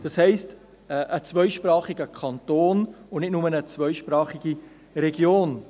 Das heisst, es geht um einen zweisprachigen Kanton und nicht nur um eine zweisprachige Region.